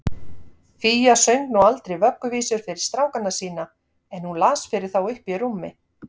Fía söng nú aldrei vögguvísur fyrir strákana sína, en hún las fyrir þá uppí rúmi.